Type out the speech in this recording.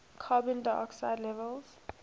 carbon dioxide levels